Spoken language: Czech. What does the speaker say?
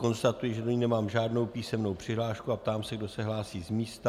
Konstatuji, že do ní nemám žádnou písemnou přihlášku, a ptám se, kdo se hlásí z místa.